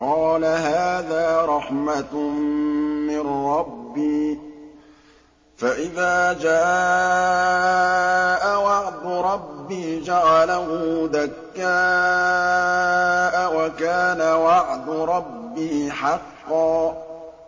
قَالَ هَٰذَا رَحْمَةٌ مِّن رَّبِّي ۖ فَإِذَا جَاءَ وَعْدُ رَبِّي جَعَلَهُ دَكَّاءَ ۖ وَكَانَ وَعْدُ رَبِّي حَقًّا